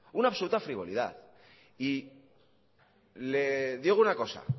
una absoluta frivolidad y le digo una cosa